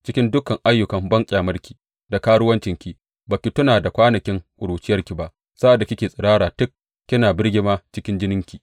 Cikin dukan ayyukan banƙyamarki da karuwancinki ba ki tuna da kwanakin ƙuruciyarki ba, sa’ad da kike tsirara tik, kina birgima cikin jininki.